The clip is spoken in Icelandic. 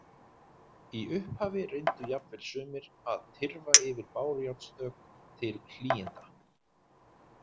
Í upphafi reyndu jafnvel sumir að tyrfa yfir bárujárnsþök til hlýinda.